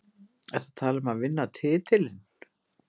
Ertu að tala um að vinna titilinn?